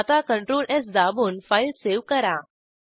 आता Ctrl स् दाबून फाईल सेव्ह करा